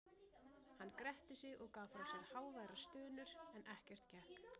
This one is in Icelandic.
Hann gretti sig og gaf frá sér háværar stunur, en ekkert gekk.